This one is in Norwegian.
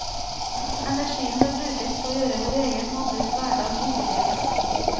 Energien bør brukes på å gjøre vår egen og andres hverdag hyggeligere.